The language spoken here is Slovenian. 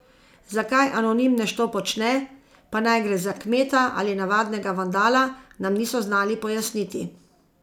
Zakaj anonimnež to počne, pa naj gre za kmeta ali navadnega vandala, nam niso znali pojasniti.